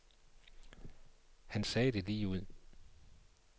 Han sagde det lige ud.